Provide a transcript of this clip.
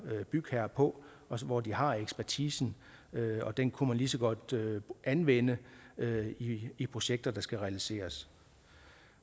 bygherre på hvor de har ekspertisen og den kunne man lige så godt anvende i projekter der skal realiseres